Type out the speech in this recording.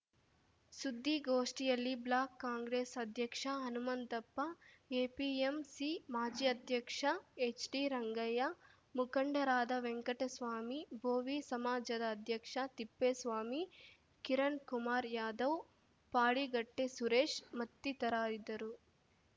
ಸುದ್ದಿಗೋಷ್ಠಿಯಲ್ಲಿ ಬ್ಲಾಕ್‌ ಕಾಂಗ್ರೆಸ್‌ ಅಧ್ಯಕ್ಷ ಹನುಮಂತಪ್ಪ ಎಪಿಎಂಸಿ ಮಾಜಿ ಅಧ್ಯಕ್ಷ ಎಚ್‌ಡಿರಂಗಯ್ಯ ಮುಖಂಡರಾದ ವೆಂಕಟಸ್ವಾಮಿ ಬೋವಿ ಸಮಾಜದ ಅಧ್ಯಕ್ಷ ತಿಪ್ಪೇಸ್ವಾಮಿ ಕಿರಣ್‌ಕುಮಾರ್‌ ಯಾದವ್‌ ಪಾಡಿಗಟ್ಟೆಸುರೇಶ್‌ ಮತ್ತಿತರರಿದ್ದರು